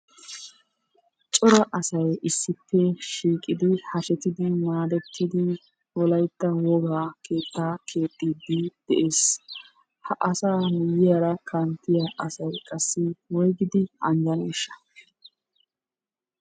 Cora asay issippe shiiqidi hashetidi maadettidi wolaytta wogaa keettaa keexxiiddi de'ees. Ha asaa miyyiyara kanttiya asay qassi woygidi anjjaneeshsha?